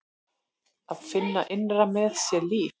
Að finna innra með sér líf.